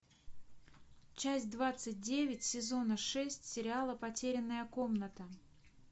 часть двадцать девять сезона шесть сериала потерянная комната